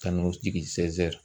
Ka n'o jigi